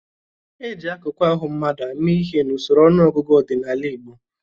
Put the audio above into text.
E ji akụkụ ahụ mmadụ àmà ihe n'usoro ọnụọgụgụ ọdịnala Igbo.